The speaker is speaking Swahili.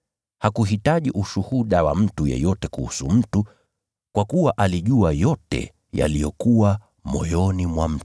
Hakuhitaji ushuhuda wa mtu yeyote kuhusu mtu, kwa kuwa alijua yote yaliyokuwa moyoni mwa mtu.